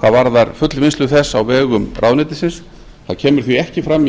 hvað varðar fullvinnslu þess á vegum ráðuneytisins það kemur því ekki fram